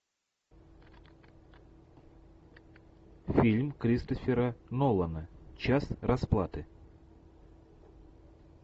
фильм кристофера нолана час расплаты